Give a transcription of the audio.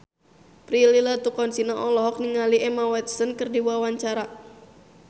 Prilly Latuconsina olohok ningali Emma Watson keur diwawancara